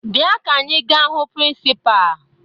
Bịa ka anyị gaa hụ prịnsịpaa!